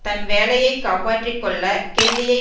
தன் வேலையை காப்பாற்றிக்கொள்ள கெல்லியை